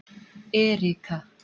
Erika